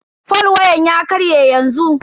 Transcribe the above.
fol wayan ya karye yanzu.